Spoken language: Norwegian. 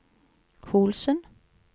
Holsen